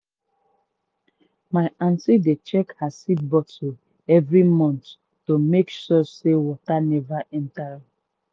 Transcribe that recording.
my aunty dey check her seed bottle every month to make sure say water never enter.